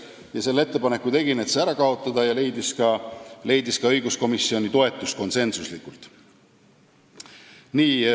Ma tegin ettepaneku see ära kaotada ja see leidis ka õiguskomisjoni konsensuslikku toetust.